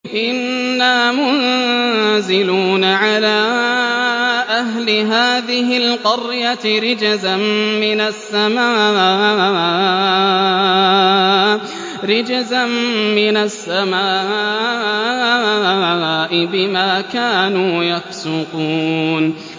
إِنَّا مُنزِلُونَ عَلَىٰ أَهْلِ هَٰذِهِ الْقَرْيَةِ رِجْزًا مِّنَ السَّمَاءِ بِمَا كَانُوا يَفْسُقُونَ